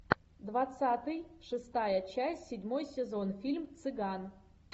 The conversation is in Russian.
двадцатый шестая часть седьмой сезон фильм цыган